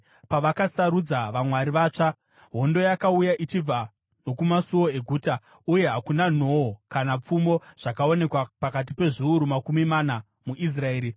Pavakasarudza vamwari vatsva, hondo yakauya ichibva nokumasuo eguta, uye hakuna nhoo kana pfumo zvakaonekwa pakati pezviuru makumi mana muIsraeri.